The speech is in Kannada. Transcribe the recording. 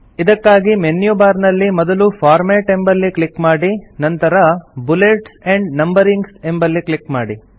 ಇದಕ್ಕಾಗಿ ಮೆನ್ಯು ಬಾರ್ ನಲ್ಲಿ ಮೊದಲು ಫಾರ್ಮ್ಯಾಟ್ ಎಂಬಲ್ಲಿ ಕ್ಲಿಕ್ ಮಾಡಿ ನಂತರ ಬುಲೆಟ್ಸ್ ಆಂಡ್ ನಂಬರಿಂಗ್ ಎಂಬಲ್ಲಿ ಕ್ಲಿಕ್ ಮಾಡಿ